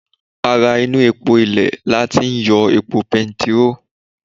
Ara epo inú ilè lati ń yọ epo petiró